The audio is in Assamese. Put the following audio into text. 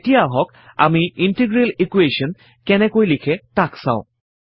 এতিয়া আহক আমি ইণ্টিগ্ৰেল ইকোৱেশ্যন কেনেকৈ লিখে তাক চাও